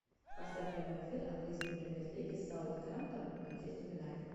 поставь прямой эфир английской премьер лиги саутгемптон манчестер юнайтед